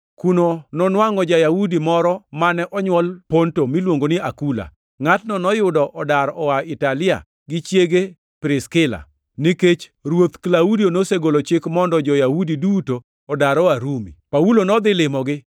Kuno nonwangʼo ja-Yahudi moro mane onywol Ponto miluongo ni Akula. Ngʼatno noyudo odar oa Italia gi chiege Priskila, nikech ruoth Klaudio nosegolo chik mondo jo-Yahudi duto odar oa Rumi. Paulo nodhi limogi,